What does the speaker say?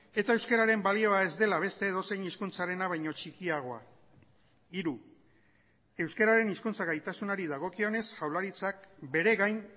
eta euskararen balioa ez dela beste edozein hizkuntzarena baino txikiagoa hiru euskararen hizkuntza gaitasunari dagokionez jaurlaritzak bere gain